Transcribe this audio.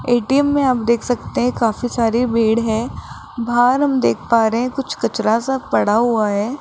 ATM में आप देख सकते हैं काफी सारी भीड़ है बाहर हम देख पा रहे हैं कुछ कचरा सा पड़ा हुआ है।